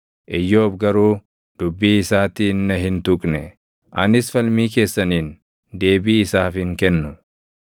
Iyyoob garuu dubbii isaatiin na hin tuqne; anis falmii keessaniin deebii isaaf hin kennu.